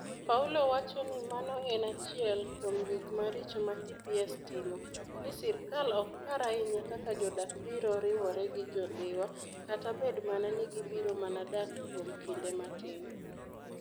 Paulo wacho ni mano en achiel kuom gik maricho ma TPS timo - ni sirkal ok par ahinya kaka jodak biro riwore gi Jo-Dhiwa, kata bed mana ni gibiro mana dak kuom kinde matin.